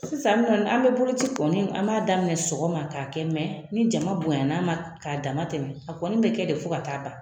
Sisan ŋɔni an bɛ boloci kɔni an b'a daminɛ sɔgɔma k'a kɛ ni jama bonya n'a ma ka dama tɛmɛ a kɔni bɛ kɛ de fo ka taa ban.